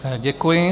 Děkuji.